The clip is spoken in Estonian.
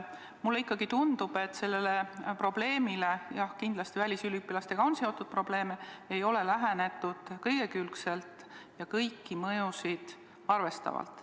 Mulle ikkagi tundub, et sellele probleemile – jah, kindlasti on välisüliõpilastega seotud probleeme – ei ole lähenetud igakülgselt ja kõiki mõjusid arvestavalt.